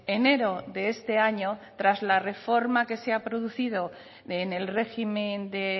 enero de este año tras la reforma que se ha producido en el régimen de